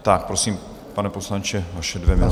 Tak, prosím, pane poslanče, vaše dvě minuty.